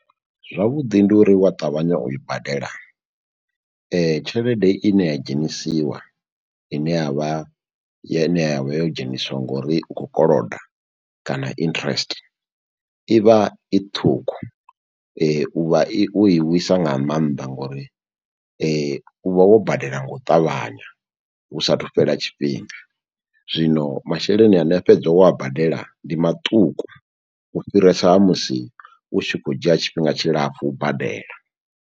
Zwavhuḓi ndi uri wa ṱavhanya u i badela tshelede i ne ya dzhenisiwa ine ya vha ya vha yo dzheniswa ngori u kho koloda kana interest i vha i ṱhukhu u vha i wo i wisa nga maanḓa ngori u vha wo badela nga u ṱavhanya hu sathu fhela tshifhinga, zwino masheleni ane a fhedza wo a badela ndi maṱuku u fhirisa ha musi u tshi khou dzhia tshifhinga tshilapfhu u badela.